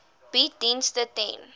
bied dienste ten